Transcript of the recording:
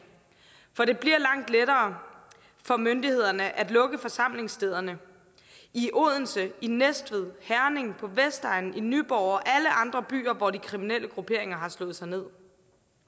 for det bliver langt lettere for myndighederne at lukke forsamlingsstederne i odense i næstved herning på vestegnen i nyborg og i alle andre byer hvor de kriminelle grupperinger har slået sig med